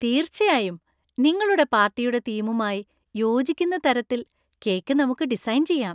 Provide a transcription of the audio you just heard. തീർച്ചയായും! നിങ്ങളുടെ പാർട്ടിയുടെ തീമുമായി യോജിക്കുന്ന തരത്തിൽ കേക്ക് നമുക്ക് ഡിസൈൻ ചെയ്യാം.